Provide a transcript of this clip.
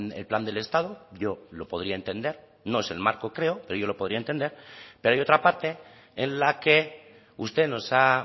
el plan del estado yo lo podría entender no es el marco creo pero yo lo podría entender pero hay otra parte en la que usted nos ha